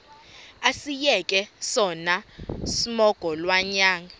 asiyeke sono smgohlwaywanga